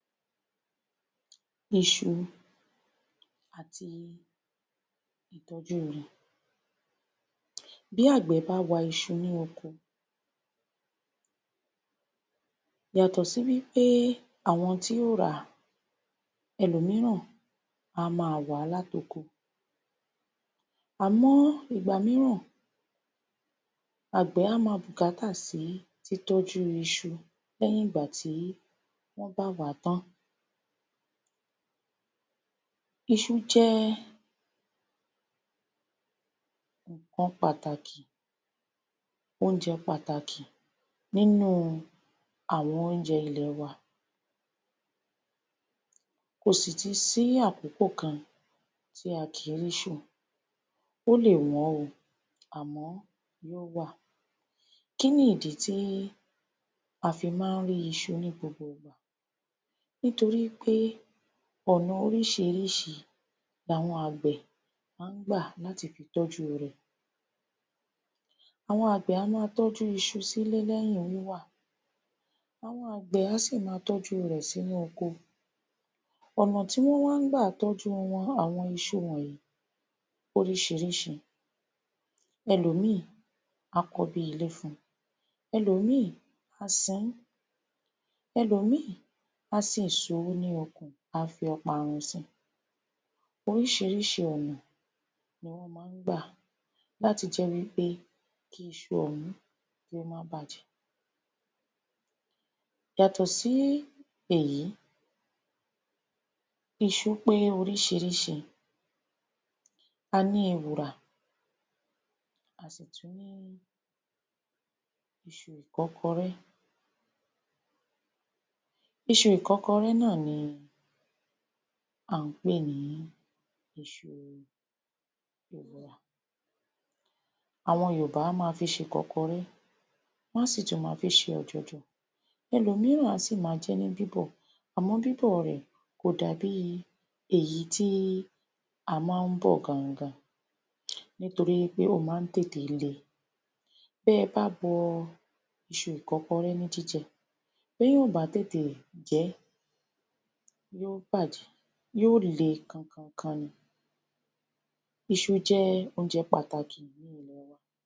Iṣu àti ìtọ́jú wọn Bí àgbẹ̀ bá wa iṣu ní oko yàtọ̀ sí wí pé àwọn tí ó ń ràá ẹlòmíràn á máa wà á láti oko àmọ́ ìgbà míràn àgbẹ̀ á máa bùkátà sí títọ́jú iṣu lẹ́yìn ìgbà tí wọ́n bá wà á tán Iṣu jẹ́ nǹkan pàtàkì oúnjẹ pàtàkì nínú àwọn oúnjẹ ilẹ̀ wa Kò sì tún sí àkókò kan tí a kì í rí iṣu, ó lè wọ́n o àmọ́ ó wà. Kí ni ìdí tí a fi má a ń rí iṣu ní gbogbo ìgbà nítorí pé ọ̀nà oriíṣiríṣi làwọn àgbá ẹ̀ máa ń gbà láti tọ́jú rẹ̀ àwọn àgbẹ̀ a máa tọ́jú iṣu sílé lẹ́yìn wíwà àwọn àgbẹ̀ á sì máa tọ́jú rẹ̀ sínú oko ọ̀nà tí wọ́n wá ń gbà tọ́jú àwọ́n iṣu wọ̀nyí pé oríṣiríṣi ẹlòmíì á kọ́ bí i ilé fún un, ẹlòmíì á sin ín, ẹlòmíì á sin èsuru sínú oko á fi ọparun sí i oríṣiríṣi ọ̀nà ni wọ́n máa ń gbà láti jẹ́ pé kí iṣu ọ̀hún kí ó má bàjẹ́ Yàtọ̀ sí èyí iṣu pé oríṣiríṣi a ní ewùrà a sì tún ní iṣu ìkọ́kọrẹ́ Iṣu ìkọ́kọrẹ́ náà ni à ń pè ní iṣu ewùrà àwọn Yorùbá á máa fi ṣe ìkọ́kọrẹ́, wọ́n á sì tún máa fi ṣe ọ̀jọ̀jọ̀. Ẹlòmíràn á sì máa jẹ ẹ́ ní bíbọ̀ àmọ́ bíbọ̀ rẹ̀ kò dàbí èyí tí a máa ń bọ̀ gangan nítorí pé ó máa ń tètè le bí ẹ bá bọ iṣu ìkọ́kọrẹ́ ní jíjẹ bí èèyàn ò bá tètè jẹ ẹ́ yóò bàjẹ́ yóò le kankankan ni Iṣu jẹ́ oúnjẹ pàtàkì ní ilẹ̀ wa.